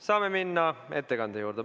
Saame minna ettekande juurde.